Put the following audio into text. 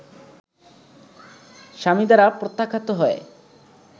স্বামী দ্বারা প্রত্যাখ্যাত হয়ে